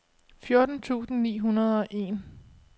fjorten tusind ni hundrede og en